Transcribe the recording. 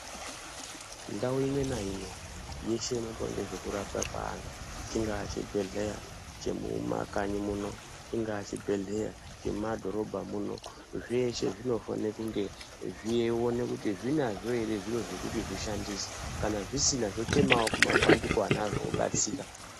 Ndau imwe naimwe yeshe inoitwa ngezvekurapwa kweantu, chingaa chibhedhleya chemumakanyi muno, chingaa chibhedhleya chemumadhorobha muno, zveshe zvinofane kunge zveione kuti zvinazvo ere zviro zvekuti zvishandise, kana zvisina zvochemawo kumabandiko anazvo obatsira.